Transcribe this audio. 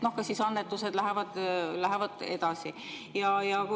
Kas siis annetused lähevad edasi?